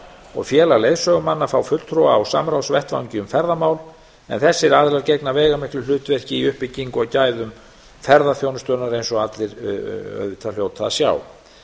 og félag leiðsögumanna fá fulltrúa á samráðsvettvangi um ferðamál en þessir aðilar gegna veigamiklu hlutverki í uppbyggingu og gæðum ferðaþjónustunnar eins og allir hljóta auðvitað að sjá